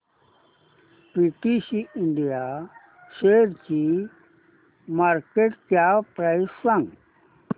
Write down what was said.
PTC India शेअरची market cap price सांगा